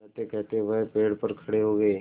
कहतेकहते वह पेड़ पर खड़े हो गए